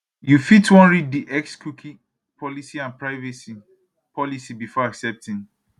you fit wan read di xcookie policyandprivacy policybefore accepting